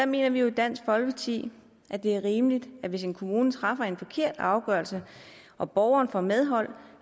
mener vi jo i dansk folkeparti at det er rimeligt hvis en kommune træffer en forkert afgørelse og borgeren får medhold